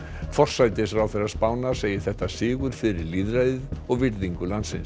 forsætisráðherra Spánar segir þetta sigur fyrir lýðræðið og virðingu landsins